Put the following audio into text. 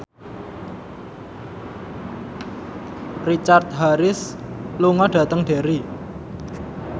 Richard Harris lunga dhateng Derry